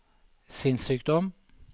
sinnssykdom